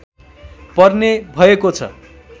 पर्ने भएको छ